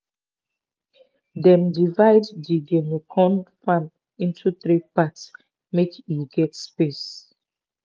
dem divide di guinea corn farm into three part make e get space.